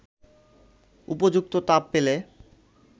উপযুক্ত তাপ পেলে